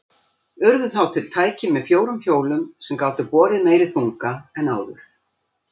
Urðu þá til tæki með fjórum hjólum sem gátu borið meiri þunga en áður.